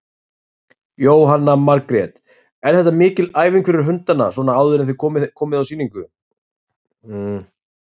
Jóhanna Margrét: Er þetta mikil æfing fyrir hundana svona áður en þið komið á sýningu?